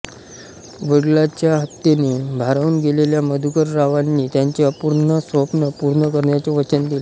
वडिलांच्या हत्येने भारावून गेलेल्या मधुकररावांनी त्यांचे अपूर्ण स्वप्न पूर्ण करण्याचे वचन दिले